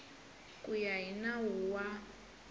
ku ya hi nawu wa